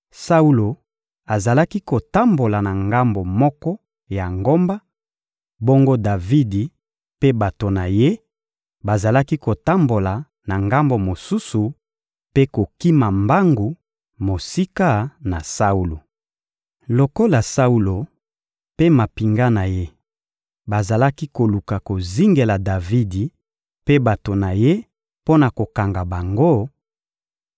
Saulo azalaki kotambola na ngambo moko ya ngomba, bongo Davidi mpe bato na ye bazalaki kotambola na ngambo mosusu mpe kokima mbangu mosika na Saulo. Lokola Saulo mpe mampinga na ye bazalaki koluka kozingela Davidi mpe bato na ye mpo na kokanga bango,